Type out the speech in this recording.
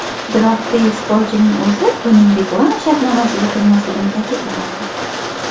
Biroq beysbolchining o‘zi buning reklama shartnomasiga kirmasligini ta’kidlamoqda.